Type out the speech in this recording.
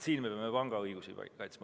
Siin me peame pigem panga õigusi kaitsma.